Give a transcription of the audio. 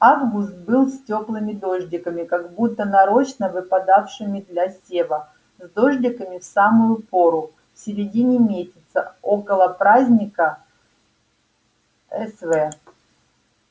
август был с тёплыми дождиками как будто нарочно выпадавшими для сева с дождиками в самую пору в середине месяца около праздника св